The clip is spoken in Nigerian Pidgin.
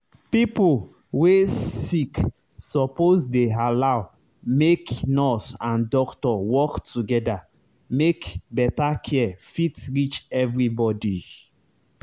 pipo wey sick suppose dey allow make nurse and doctor work together make better care fit reach everybody.